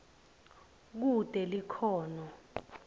kute likhono